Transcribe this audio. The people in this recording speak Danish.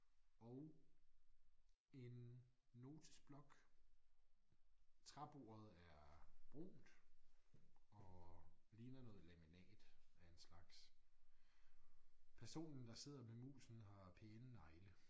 Og en notesblok. Træbordet er brunt og ligner noget laminat af en slags personen der sidder med musen har pæne negle